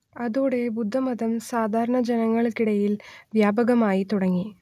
അതോടെ ബുദ്ധമതം സാധാരണ ജനങ്ങൾക്കിടയിൽ വ്യാപകമായിത്തുടങ്ങി